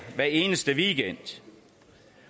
hver eneste weekend